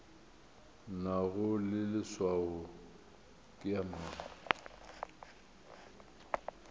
nago leswao ke ya mang